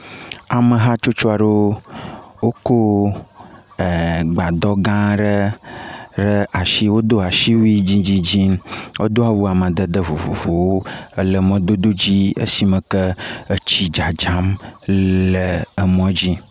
Ame hatsotso aɖewo wokɔ e gbadɔ gã aɖe ɖe asi. Wodo asiwui dzidzidzi. Wodo awu amadede vovovowo ele emɔdodo dzi esi me ke etsi dzadzam le emɔ dzi.